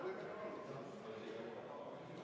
Aitäh, austatud eesistuja!